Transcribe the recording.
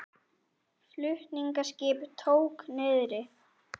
Flutningaskip tók niðri